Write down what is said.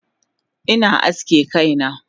Ina aske kaina